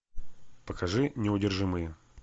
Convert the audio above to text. покажи неудержимые